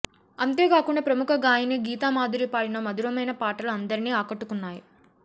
అంతే కాకుండా ప్రముఖ గాయని గీతమాధురి పాడిన మధురమైన పాటలు అందరినీ అకట్టుకున్నాయి